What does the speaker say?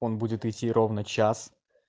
он будет идти ровно час